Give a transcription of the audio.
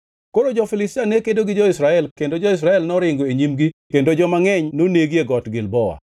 Koro jo-Filistia ne kedo gi jo-Israel kendo jo-Israel noringo e nyimgi kendo joma ngʼeny nonegi e Got Gilboa.